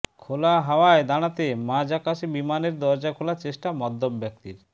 খোলা হাওয়ায় দাঁড়াতে মাঝ আকাশে বিমানের দরজা খোলার চেষ্টা মদ্যপ ব্যক্তির